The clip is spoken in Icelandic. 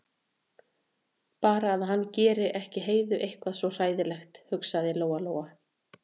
Bara að hann geri ekki Heiðu eitthvað svona hræðilegt, hugsaði Lóa-Lóa.